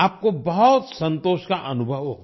आपको बहुत संतोष का अनुभव होगा